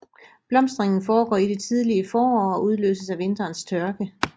Blomstringen foregår i det tidlige forår og udløses af vinterens tørke